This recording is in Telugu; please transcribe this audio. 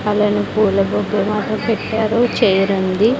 అలానే పూలబొకే మాత్రం పెట్టారు చైర్ ఉంది.